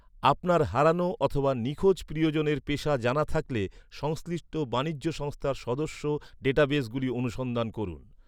আপনার হারানো অথবা নিখোঁজ প্রিয়জনের পেশা জানা থাকলে, সংশ্লিষ্ট বাণিজ্য সংস্থার সদস্য ডেটাবেসগুলি অনুসন্ধান করুন।